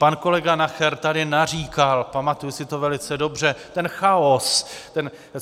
Pan kolega Nacher tady naříkal, pamatuji si to velice dobře - ten chaos!